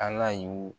Ala y'u